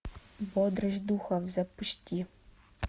бодрость духов запусти